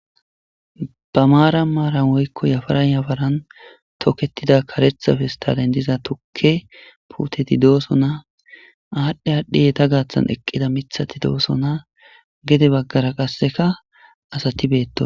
Ba maaran maaran woykko yafaran yafaran toketida karetha fistalen diza tukke puteti dooso naa aadhdhe aadhdhey ta gaaththan eqqida mithati dooso naa gede baggara qasseka asati beetto.